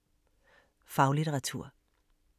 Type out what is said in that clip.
Faglitteratur